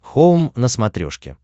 хоум на смотрешке